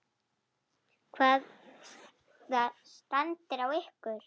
Hvaða stand er á ykkur?